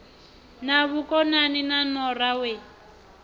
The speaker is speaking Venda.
na vhukonani na nora we